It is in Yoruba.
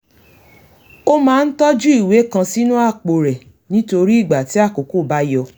ó máa ń tójú ìwé kan sínú àpò rẹ̀ nítorí ìgbà tí àkókó bá yọ